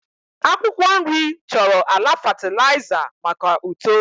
akwụkwọ nri chọrọ ala fatịlaịza maka uto